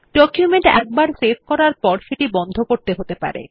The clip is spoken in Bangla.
ডকুমেন্ট একবার সেভ করার পর সেটি বন্ধ করতে হতে পারে